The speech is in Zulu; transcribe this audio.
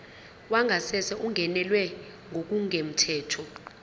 wangasese ungenelwe ngokungemthetho